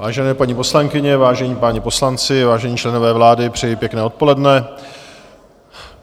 Vážené paní poslankyně, vážení páni poslanci, vážení členové vlády, přeji pěkné odpoledne.